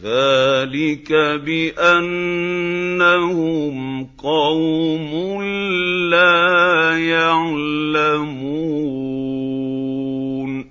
ذَٰلِكَ بِأَنَّهُمْ قَوْمٌ لَّا يَعْلَمُونَ